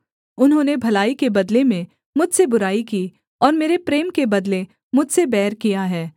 उन्होंने भलाई के बदले में मुझसे बुराई की और मेरे प्रेम के बदले मुझसे बैर किया है